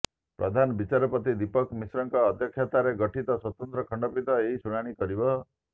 ପ୍ରଧାନ ବିଚାରପତି ଦୀପକ ମିଶ୍ରଙ୍କ ଅଧ୍ୟକ୍ଷତାରେ ଗଠିତ ସ୍ୱତନ୍ତ୍ର ଖଣ୍ଡପୀଠ ଏହି ଶୁଣାଣି କରିବ